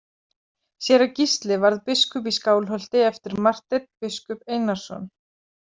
Séra Gísli varð biskup í Skálholti eftir Marteinn biskup Einarsson.